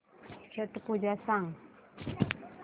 छट पूजा सांग